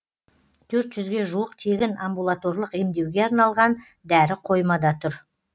төрт жүзге жуық тегін амбулаторлық емдеуге арналған дәрі қоймада тұр